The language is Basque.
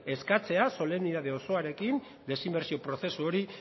eskatzea solemnitate osoarekin desinbertsio prozesu hori